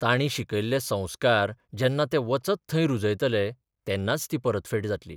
तांणी शिकयल्ले संस्कार जेन्ना ते वचत थंय रुजयतले तेन्नाच ती परतफेड जातली.